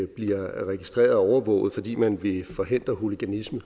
bliver registreret og overvåget fordi man vil forhindre hoologanisme